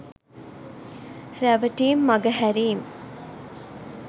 රැවටීම් මඟහැරීම්